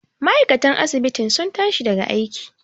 ma'aikatan asibitin sun tashi daga aiki